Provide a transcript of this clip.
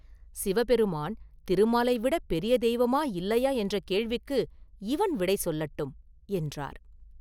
சிவபெருமான் திருமாலை விடப் பெரிய தெய்வமா, இல்லையா என்ற கேள்விக்கு இவன் விடை சொல்லட்டும்!” என்றார்.